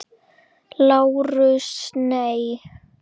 LÁRUS: Nei.